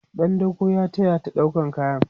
ɗan dako ya tayata ɗaukan kaya